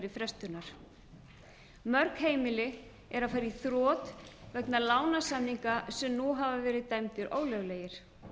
frestunar mörg heimili eru að fara í þrot vegna lánasamninga sem nú hafa verið dæmdir ólöglegir